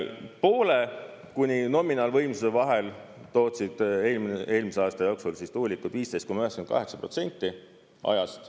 Poole kuni nominaalvõimsuse vahel tootsid eelmise aasta jooksul tuulikud 15,98% ajast.